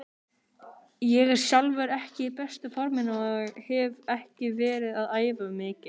Ég er sjálfur ekki í besta forminu og hef ekki verið að æfa mikið.